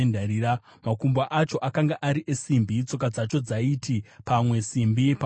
makumbo acho akanga ari esimbi, tsoka dzacho dzaiti pamwe simbi pamwe ivhu.